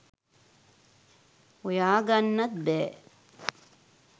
හොයාගන්නත් බෑ